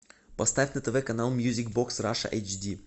поставь на тв канал мьюзик бокс раша эйч ди